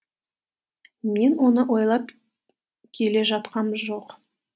мен оны ойлап келе жатқам жоқ